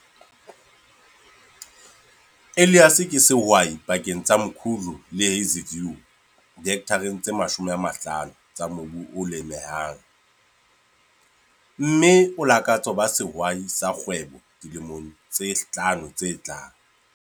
Elias ke sehwai pakeng tsa Mkhuhlu le Hazyview dihekthareng tse 50 tsa mobu o lemehang, mme o lakatsa ho ba sehwai sa kgwebo dilemong tse hlano tse tlang.